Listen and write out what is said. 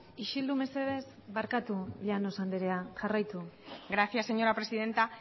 isildu mesedez parkatu llanos anderea jarraitu gracias señora presidenta